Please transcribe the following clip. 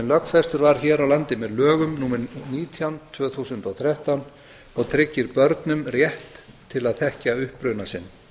lögfestur var hér á landi með lögum númer nítján tvö þúsund og þrettán og tryggir börnum rétt til að þekkja uppruna sinn